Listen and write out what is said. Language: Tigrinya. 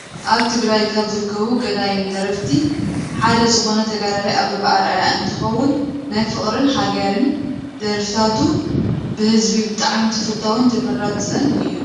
ኣብ ትግራይ ካብ ዝርከቡ ገዳይም ደረፍቲ ሓደ ዝኮነ ተጋዳላይ ኣበበ ኣርኣያ እንትከውን፣ ናይ ፍቅርን ሃገርን ደርፍታቱ ብህዝቢ ብጣዕሚ ተፈታዊን ተመራፅን እዮም።